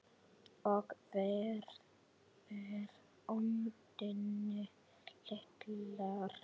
Og varpar öndinni léttar.